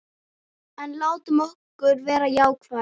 En látum okkur vera jákvæð.